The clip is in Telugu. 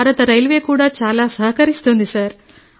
భారత రైల్వే కూడా చాలా సహకరిస్తోంది సార్